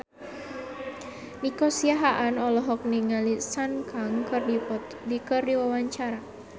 Nico Siahaan olohok ningali Sun Kang keur diwawancara